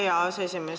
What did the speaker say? Aitäh, hea aseesimees!